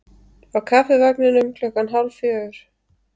Á Kaffivagninum klukkan hálf fjögur.